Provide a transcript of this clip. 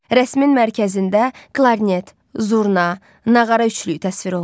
Rəsmin mərkəzində klarnet, zurna, nağara üçlüyü təsvir olunur.